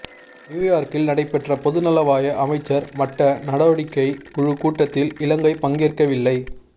நியூயோர்க்கில் நடைபெற்ற பொதுநலவாய அமைச்சர் மட்ட நடவடிக்கை குழு கூட்டத்தில் இலங்கை பங்கேற்கவில்லை